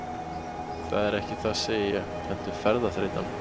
Það er ekki það sagði ég, heldur ferðaþreytan.